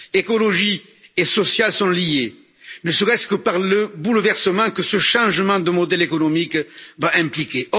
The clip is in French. Écologie et social sont liés, ne serait ce que par le bouleversement que ce changement de modèle économique va impliquer.